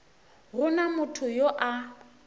go na motho yo a